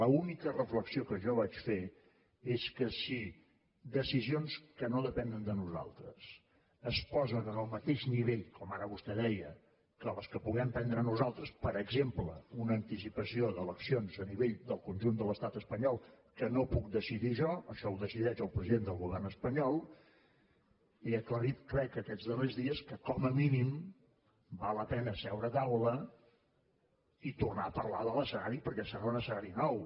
l’única reflexió que jo vaig fer és que si decisions que no depenen de nosaltres es posen en el mateix nivell com ara vostè deia que les que puguem prendre nosaltres per exemple una anticipació d’eleccions a nivell del conjunt de l’estat espanyol que no puc decidir jo això ho decideix el president del govern espanyol he aclarit crec aquests darrers dies que com a mínim val la pena seure a taula i tornar a parlar de l’escenari perquè serà un escenari nou